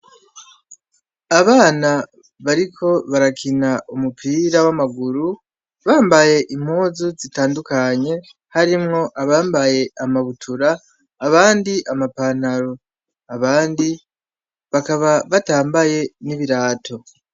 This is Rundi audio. Abana bariko barakina umupira wamaguru bambaye impuzu zitandukanye harimwo abambaye amabutura abandi ama pantaro abandi bakaba batambaye nibirato.